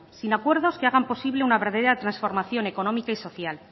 sin acuerdos que hagan posible una verdadera transformación económica y social